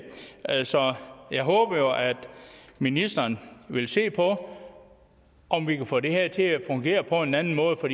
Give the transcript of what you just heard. altså jeg håber jo at ministeren vil se på om vi kan få det her til at fungere på en anden måde for